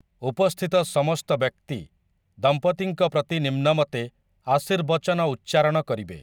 ଉପସ୍ଥିତ ସମସ୍ତ ବ୍ୟକ୍ତି ଦମ୍ପତିଙ୍କ ପ୍ରତି ନିମ୍ନମତେ ଆଶୀର୍ବଚନ ଉଚ୍ଚାରଣ କରିବେ ।